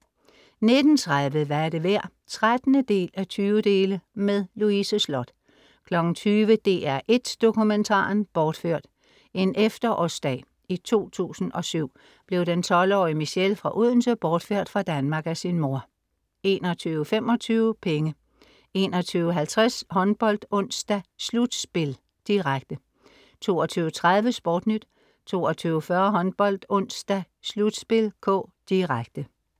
19:30 Hvad er det værd? (13:20) Louise Sloth 20:00 DR1 Dokumentaren. Bortført. En efterårsdag i 2007 blev 12-årige Michelle fra Odense bortført fra Danmark af sin mor 21:25 Penge 21:50 HåndboldOnsdag: slutspil (k), direkte 22:30 SportNyt 22:40 HåndboldOnsdag: slutspil (k), direkte